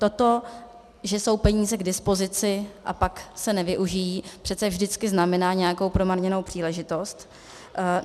To, že jsou peníze k dispozici a pak se nevyužijí, přece vždycky znamená nějakou promarněnou příležitost.